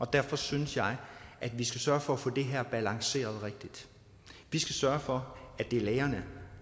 derfor synes jeg at vi skal sørge for at få det her balanceret rigtigt vi skal sørge for at det er lægerne